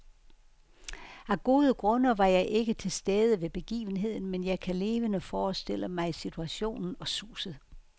Af gode grunde var jeg ikke til stede ved begivenheden, men jeg kan levende forestille mig situationen og suset.